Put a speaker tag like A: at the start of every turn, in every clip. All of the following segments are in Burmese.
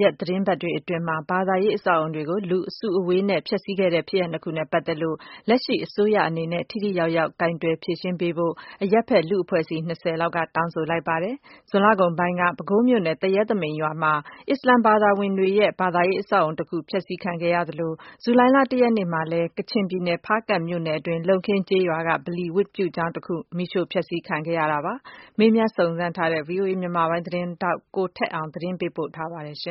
A: ရက်သတင်းပတ်တွေအတွင်း ဘာသာရေးအဆောက်အအုံတွေကို လူအစုအဝေးနဲ့ ဖျက်ဆီးခဲ့တဲ့ဖြစ်ရပ်နှစ်ခုနဲ့ပတ်သက်လို့ လက်ရှိအစိုးရအနေနဲ့ ထိထိရောက်ရောက်ကိုင်တွယ်ဖြေရှင်းပေးဖို့ အရပ်ဖက်လူ့အဖွဲ့အစည်း ၁၉ ခုကျော်က တောင်းဆိုလိုက်ပါတယ်။ ဇွန်လကုန်ပိုင်းက ပဲခူးမြို့နယ် သူရဲသမိန်ရွာမှာ အစ္စလာမ်ဘာသာဝင်တို့ရဲ့ ဘာသာရေးအဆောက်အအုံတခု ဖျက်ဆီးခံရသလို၊ ဇူလှိုင် ၁ ရက်နေ့မှာလည်း ကချင်ပြည်နယ် ဖားကန့်မြို့နယ်တွင်း လုံခင်းကျေးရွာက ဗလီဝတ်ပြုကျောင်းတခု မီးရှို့ဖျက်ဆီးခံခဲ့ရတာပါ။ စုံစမ်းမေးမြန်းထားတဲ့ ဗွီအိုအေ မြန်မာပိုင်းသတင်းထောက် ကိုထက်အောင် သတင်းပေးပို့ထားပါတယ်။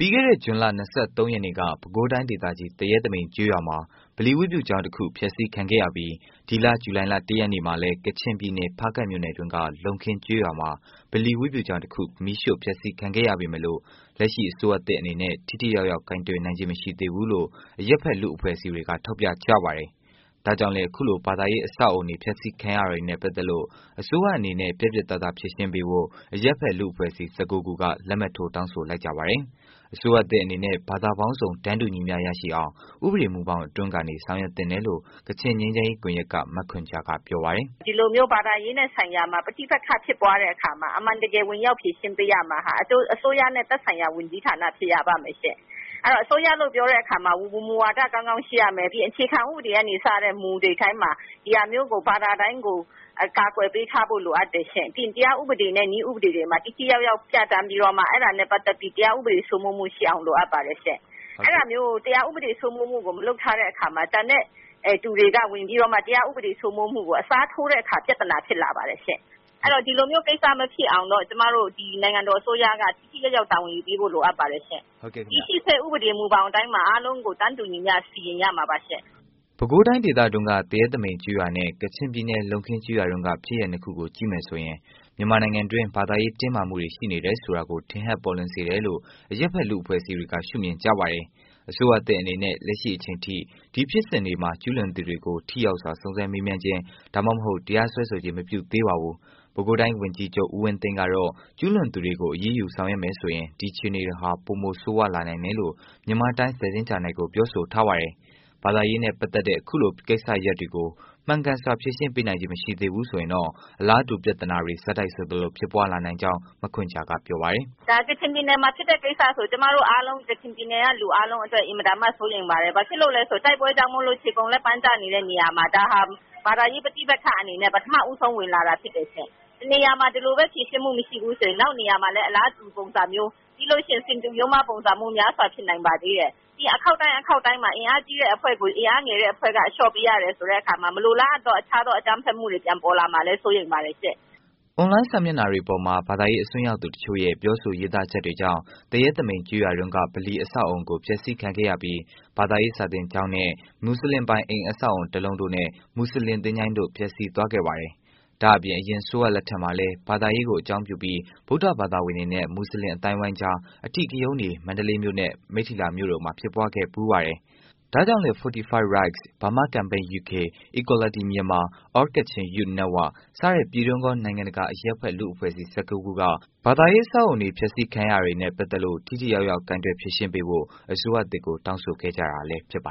B: ပြီးခဲ့တဲ့ ဇွန်လ ၂၃ ရက်နေ့က ပဲခူးတိုင်းဒေသကြီး သရဲသမိန်ကျေးရွာမှာ ဗလီဝတ်ပြုကျောင်းတစ်ခု ဖျက်စီးခံခဲ့ရပြီး ဒီလ ဇူလိုင်လ ၁ ရက်နေ့မှာလည်း ကချင်ပြည်နယ် ဖားကန့်မြို့နယ်တွင်းက လုံခင်းကျေးရွာမှာ ဗလီ ဝတ်ပြူကျောင်းတစ်ခု မီးရှို့ဖျက်စီးခံခဲ့ရပေမယ့်လို့ လက်ရှိအစိုးရသစ်အနေနဲ့ ထိထိရောက်ရောက် ကိုင်တွယ်နိုင်ခြင်း မရှိသေးဘူးလို့ အရပ်ဖက် လူ့အဖွဲ့အစည်းတွေ က ထောက်ပြကြပါတယ်။ ဒါကြောင့်လည်း အခုလို ဘာသာရေး အဆောက်အအုံတွေ ဖျက်စီး ခံရတာနဲ့ ပတ်သက်လို့ အစိုးရအနေနဲ ပြတ်ပြတ်သားသား ဖြေရှင်းပေးဖို့ အရပ်ဖက် လူ့အဖွဲ့အစည်း ၁၉ ခုက လက်မှတ်ထိုး တောင်းဆိုလိုက်ကြပါတယ်။ အစိုးရသစ်အနေနဲ့ ဘာသာပေါင်းစုံ တန်းတူ ညီမျှရရှိအောင် ဥပဒေ မူဘောင်အတွင်းကနေ ဆောင်ရွက်သင့်တယ်လို့ ကချင်ငြိမ်းချမ်းရေး ကွန်ရက်က မခွန်ဂျာက ပြောပါတယ်။
C: “ဒီလိုမျိုး ဘာသာရေးနဲ့ဆိုင်ရာမှာ ပဋိပက္ခဖြစ်ပွားတဲ့အခါမှာ အမှန်တကယ် ဝင်ရောက်ဖြေရှင်းပေးရမယ့်ဟာက အစိုးရနဲ့ သက်ဆိုင်ရာ ဝန်ကြီးဌာနဖြစ်ရ ပါမယ်ရှင့်။ အဲဒီတော့ အစိုးရလို့ပြောတဲ့အခါမှာ မူဝါဒကောင်းကောင်း ရှိရမယ်။ နောက်ပြီးအခြေခံဥပဒေကနေ စတဲ့မူတွေတိုင်းမှာ ဒီဟာမျိုးကို ဘာသာတိုင်းကို အကာအကွယ်ပေးထားဖို့လိုအပ်တယ်ရှင့်။ တရားဥပဒေနဲ့ နည်းဥပဒေတွေမှာ ထိထိရောက်ရောက် ပြဌာန်းပြီးတော့မှ အဲဒါနဲ့ ပတ်သက်ပြီး တရားဥပဒေစိုးမိုးမှုရှိအောင်လိုအပ်ပါတယ်ရှင့်။ အဲဒါမျိုး တရားဥပဒေစိုးမိုးမှု မလုပ်ထားတဲ့အခါမှာ ကျန်တဲ့သူတွေက ဝင်ပြီးတော့မှ တရားဥပဒေစိုးမိုးမှုကို အစားထိုးတဲ့အခါ ပြဿနာဖြစ်လာပါတယ်ရှင့်။ အဲဒါကြောင့်ဒီလိုမျိုးကိစ္စမဖြစ်အောင် ကျမတို့ ဒီနိုင်ငံတော်အစိုးရက ထိထိရောက်ရောက်တာဝန်ယူပေးဖို့ လိုအပ်ပါတယ်ရှင့်။ တည်ရှိစဲ ဥပဒေမူဘောင်ထဲမှာ အားလုံးကို တန်းတူညီမျှ စီရင်ရမှာပါရှင့်။
B: ” ပဲခူးတိုင်းဒေသတွင်းက သူရဲသမိန်ကျေးရွာနဲ့ ကချင်ပြည်နယ် လုံခင်းကျေးရွာတွင်းက ဖြစ်ရပ် နှစ်ခုကိုကြည့်မယ်ဆိုရင် မြန်မာနိုင်ငံတွင်း ဘာသာရေးတင်းမာမှုတွေရှိနေတယ်ဆိုတာကို ထင်ဟပ်ပေါ်လွင်စေတယ်လို့ အရပ်ဖက်လူအဖွဲ့အစည်းတွေက ရှု့မြင်ပါတယ်။ အစိုးရသစ်အနေနနဲ့ လက်ရှိအချိန်ထိ ဒီဖြစ်စဉ်တွေမှာ ကျုးလွန်သူတွေကို ထိရောက်စွာ စုံစမ်းစစ်ဆေးခြင်း ဒါမှမဟုတ် တရားစွဲဆိုခြင်းမပြုသေးပါဘူး။ ပဲခူးတိုင်း ဝန်ကြီးချုပ် ဦးဝင်းသိန်းကတော့ ကျူးလွန်သူတွေကို အရေးယူဆောင်ရွက်မယ်ဆိုရင် အခြေအနေတွေဟာ ပိုဆိုးဝါးလာနိုင်တယ်လို့ မြန်မာတိုင်စ်း သတင်းဂျာနယ်ကို ပြောဆိုထားပါတယ်။ ဘာသာရေးနဲ့ ပတ်သတ်တဲ့ အခုလို ကိစ္စရပ်တွေကို မှန်ကန်စွာ ဖြေရှင်းပေးနိုင်ခြင်း မရှိဘူးဆိုရင်တော့ အလားတူ ပြဿနာတွေ ဆက်တိုက် ဆိုသလို ဖြစ်ပွား လာနိုင်ကြောင်း မခွန်ဂျာက ဆိုပါတယ်။
C: “ဒါ ကချင်ပြည်နယ်မှာဖြစ်တဲ့ကိစ္စဆိုရင် ကျမတို့အားလုံး ကချင်ပြည်နယ်က လူအားလုံးအတွက် အင်မတန်မှ စိုးရိမ်ပါတယ်။ ဘာကြောင့်လဲဆိုတော့ တိုက်ပွဲကြောင့်မို့လို့ ခြေကုန်လက်ပန်းကျနေတဲ့နေရာမှာ ဒါဟာ ဘာသာရေး ပဋိပက္ခ အနေနဲ့ ပထမဆုံး ဝင်လာတာဖြစ်တယ်ရှင့်။ တနေရာမှာ ဒီလိုပဲဖြေရှင်းမှုမရှိဘူး ဆိုရင် နောက်နေရာမှာလည်း အလားတူ ပုံစံမျိုးပြီးလို့ရှိရင် ဆင်တူရိုးမှားပုံစံမျိုး များစွာဖြစ်နိုင်ပါသေးတယ်။ ပြီးရင် အခေါက်တိုင်းအခေါက်တိုင်းမှာ အင်အားကြီးတဲ့အဖွဲ့ကို အင်အားငယ်တဲ့အဖွဲ့ အလျှော့ပေးရတဲ့အခါမှာ မလိုလားအပ်သော အခြားသောအကြမ်းဖက်မှုတွေပေါ်ပေါက်လာမှာကို စိုးရိမ်ပါတယ်ရှင့်
B: ။” အွန်လိုင်း စာမျက်နှာတွေပေါ်မှာ ဘာသာရေး အစွန်းရောက်သူ တစ်ချို့ရဲ့ ပြောဆိုရေးသားချက်တွေကြောင့် သူရဲသမိန်ကျေးရွာတွင်းက ဗလီအဆောက်အအုံကို ဖျက်စီးခံခဲ့ရပြီး ဘာသာရေး စာသင်ကျောင်းနဲ့ မွတ်စလင်ပိုင် အိမ်အဆောက်အအုံ တစ်လုံးတို့နဲ့ မွတ်စလင် သချိုင်းတို့ ပျက်စီးသွားခဲ့ပါတယ်။ ဒါ့အပြင် အရင် အစိုးရလက်ထက်မှာလည်း ဘာသာရေးကို အကြောင်းပြုပြီး ဗုဒ္ဓဘာသာဝင်တွေနဲ့ မူစလင် အသိုင်းအဝိုင်းကြား အဓိကရုဏ်းတွေ မန္တလေးမြို့နဲ့ မိတ္ထီလာမြို့တို့မှာလည်း ဖြစ်ပွားခဲ့ဖူးပါတယ်။ ဒါ့ကြောင့်လည်း Fortify Rights ၊Burma Campaign UK ၊Equality Myanmar၊ All Kachin Youth Union စတဲ့ ပြည်တွင်း ကော နိုင်ငံတကာ အရပ်ဖက် လူ့အဖွဲ့အစည်း ၁၉ ခုက ဘာသာရေး အဆောက်အအုံတွေ ဖျက်စီးတာတွေနဲ့ပတ်သက်လို့ ထိထိရောက်ရောက် ကိုင်တွယ်ဖြေရှင်းပေးဖို့ အစိုးရသစ်ကို တောင်းဆိုခဲ့ကြတာလည်း ဖြစ်ပါ